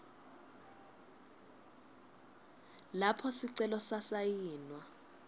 lapho sicelo sasayinwa